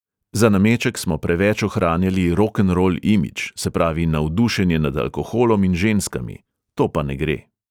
Za nameček smo preveč ohranjali rokenrol imidž, se pravi navdušenje nad alkoholom in ženskami, to pa ne gre.